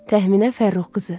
Təxminə Fərrux qızı.